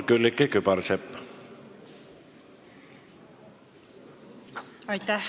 Külliki Kübarsepp, palun!